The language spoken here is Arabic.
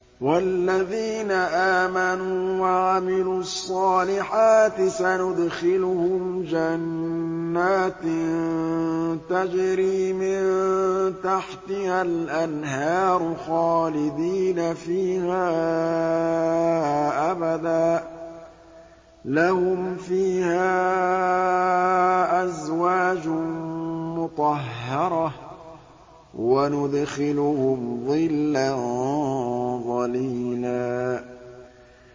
وَالَّذِينَ آمَنُوا وَعَمِلُوا الصَّالِحَاتِ سَنُدْخِلُهُمْ جَنَّاتٍ تَجْرِي مِن تَحْتِهَا الْأَنْهَارُ خَالِدِينَ فِيهَا أَبَدًا ۖ لَّهُمْ فِيهَا أَزْوَاجٌ مُّطَهَّرَةٌ ۖ وَنُدْخِلُهُمْ ظِلًّا ظَلِيلًا